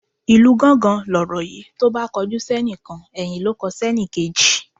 Ìlu gángan lọ̀rọ̀ yi tóbá kojú sénìkan ẹ̀yìn ló n kọ sẹ́nìkejì